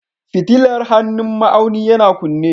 Fitilar hannun ma'auni yana kunne